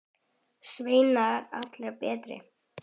Sveinar allir bera.